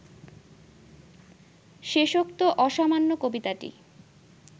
শেষোক্ত অসামান্য কবিতাটি